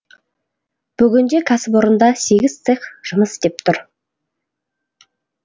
бүгінде кәсіпорында сегіз цех жұмыс істеп тұр